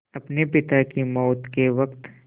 अपने पिता की मौत के वक़्त